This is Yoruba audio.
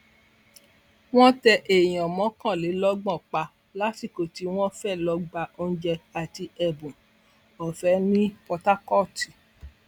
wọn tẹ èèyàn mọkànlélọgbọn pa lásìkò tí wọn fẹẹ lọọ gba oúnjẹ àti ẹbùn ọfẹ ní port harcourt